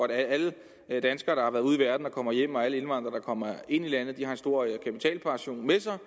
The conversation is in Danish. at alle danskere der har været ude i verden og kommer hjem og alle indvandrere der kommer ind i landet har en stor kapitalpension med sig